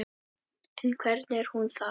En hvernig er hún þá?